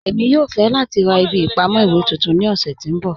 Ẹ̀mi yòò fẹ̀ lati rá ìbí ìpamọ̀ iwe tuntun ní ọ̀ṣẹ̀ tí n bọ́.